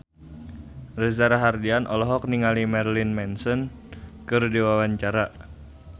Reza Rahardian olohok ningali Marilyn Manson keur diwawancara